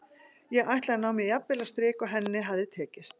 Ég ætlaði að ná mér jafn vel á strik og henni hafði tekist.